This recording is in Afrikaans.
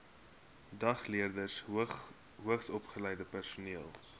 dagleerders hoogsopgeleide personeel